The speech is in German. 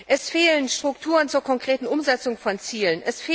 Es fehlen Strukturen zur konkreten Umsetzung von Zielen.